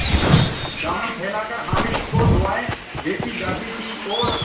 दामन फैलाकर हामिद को दुआएँ देती जाती थी और